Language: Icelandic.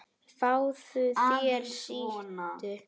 Fáðu þér sæti.